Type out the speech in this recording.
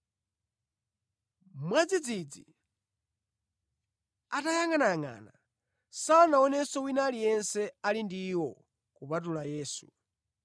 Mwadzidzidzi, atayangʼanayangʼana, sanaonenso wina aliyense ali ndi iwo kupatula Yesu.